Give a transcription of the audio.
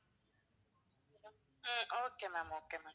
um okay ma'am okay ma'am